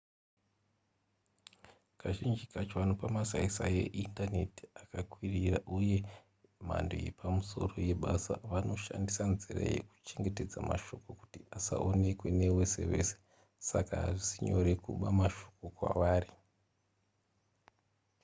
kazhinji kacho vanopa masaisai eindaneti akakwirira uye mhando yepamusoro yebasa vanoshandisa nzira yekuchengetedza mashoko kuti asaonekwe nevese vese saka hazvisi nyore kuba mashoko kwavari